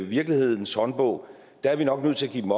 virkelighedens håndbog er vi nok nødt til at give dem